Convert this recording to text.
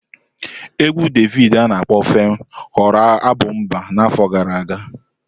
Égwù Davidi ana akpo 'FEM' ghọrọ abụ mba n'afọ gara aga.